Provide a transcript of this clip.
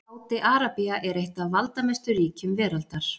Sádi-Arabía er eitt af valdamestu ríkjum veraldar.